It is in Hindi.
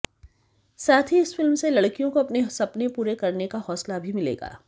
साथ ही इस फिल्म से लड़कियों को अपने सपने पूरे करने का हौसला भी मिलेगा